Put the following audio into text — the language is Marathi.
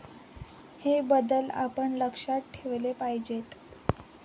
हे बदल आपण लक्षात ठेवले पाहिजेत.